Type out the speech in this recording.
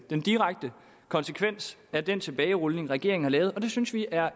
den direkte konsekvens af den tilbagerulning regeringen har lavet og det synes vi er